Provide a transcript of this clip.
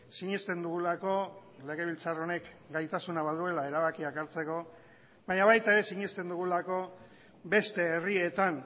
sinesten dugulako legebiltzar honek gaitasuna baduela erabakiak hartzeko baina baita ere sinesten dugulako beste herrietan